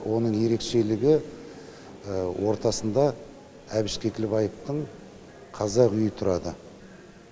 оның ерекшелігі ортасында әбіш кекілбаевтың қазақ үйі тұрады